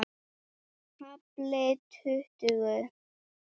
KAFLI TUTTUGU